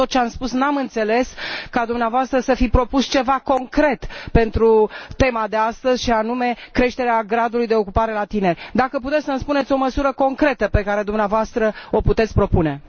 Din tot ce ați spus, nu am înțeles ca dumneavoastră să fi propus ceva concret pentru tema de astăzi, și anume creșterea gradului de ocupare la tineri. Dacă puteți, să îmi spuneți o măsură concretă pe care dumneavoastră o propuneți.